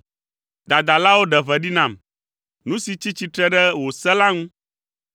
Dadalawo ɖe ʋe ɖi nam, nu si tsi tsitre ɖe wò se la ŋu.